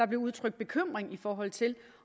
blev udtrykt bekymring i forhold til